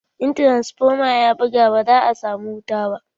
In tiransfoma ya buga, ba za a samu wuta ba.